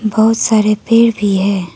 बहुत सारे पेड़ भी है।